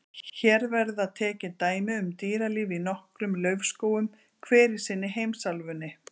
Hér verða tekin dæmi um dýralíf í nokkrum laufskógum, hver í sinni heimsálfunni.